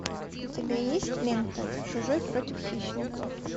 у тебя есть лента чужой против хищника